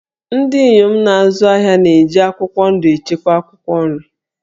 Ndị inyom na-azụ ahịa na-eji akwụkwọ ndụ echekwa akwụkwọ nri